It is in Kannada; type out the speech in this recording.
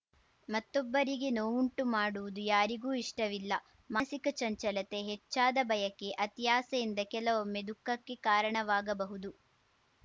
ಮತ್ತೊಬ್ಬರಿಗೆ ನೋವುಂಟುಮಾಡುವುದು ಯಾರಿಗೂ ಇಷ್ಟವಿಲ್ಲ ಮಾನಸಿಕ ಚಂಚಲತೆ ಹೆಚ್ಚಾದ ಬಯಕೆ ಅತಿಯಾಸೆಯಿಂದ ಕೆಲವೊಮ್ಮೆ ದುಃಖಕ್ಕೆ ಕಾರಣವಾಗಬಹುದು